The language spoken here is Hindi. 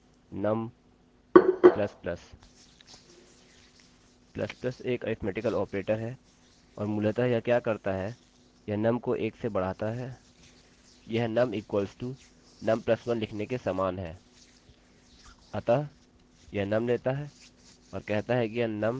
++ एक अरिथ्मेटिकल ऑपरेटर है और मूलतः यह क्या करता है यह num को 1 से बढाता है यह num =num +1 लिखने के समान है